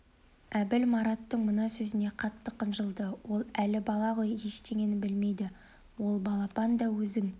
әбіл мараттың мына сөзіне қатты қынжылды ол әлі бала ғой ештеңені білмейді ол балапан да өзің